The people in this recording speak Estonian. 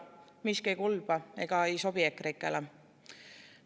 Miski ei kõlba ega sobi EKREIKE‑le.